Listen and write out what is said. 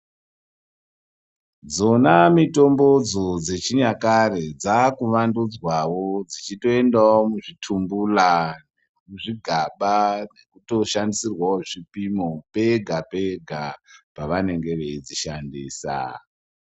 Dzona mitombo dzo dzechi nyakare dzaku vandudzwawo dzichito endawo muzvi tumbula zvigaba zvichito shandisirwawo zvipimo pega pega pa vanenge veidzi shandisa.